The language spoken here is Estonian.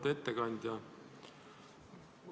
Auväärt ettekandja!